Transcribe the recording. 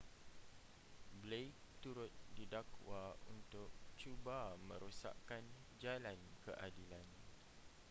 blake turut didakwa untuk cuba merosakkan jalan keadilan